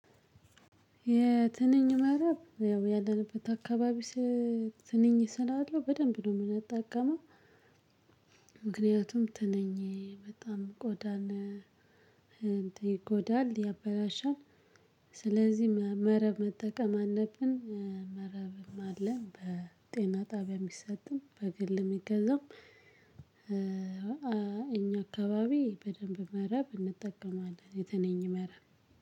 የትንኝ መረብ ያው ያለንበት አካባቢ ስ ትንኝ ስላለው በደንብ ነው የምንጠቀመው። ምክንያቱም ትነኝ በጣም ቆዳን እንት ይጎዳል ያበላሻል። ስለዚህ መረብ መጠቀም አለብን። መረብም አለ በጤና ጣቢያ የሚሰጥም በግል የሚገዛም እኛ አካባቢ በደንብ መረብ እንጠቀማለን የትንኝ መረብ።